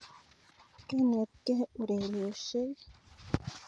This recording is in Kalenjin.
Kanetkei urerioshek